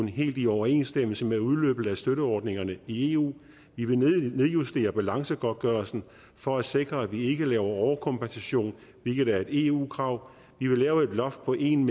helt i overensstemmelse med udløbet af støtteordningerne i eu vi vil nedjustere balancegodtgørelsen for at sikre at vi ikke laver overkompensation hvilket er et eu krav vi vil lave et loft på en